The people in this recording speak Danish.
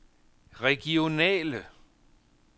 regionale